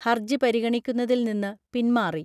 ഹർജി പരിഗണിക്കുന്നതിൽ നിന്ന് പിൻമാറി